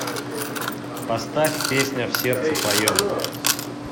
поставь песня в сердце твоем